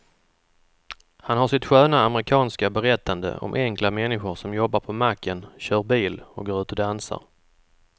Han har sitt sköna amerikanska berättande om enkla människor som jobbar på macken, kör bil och går ut och dansar.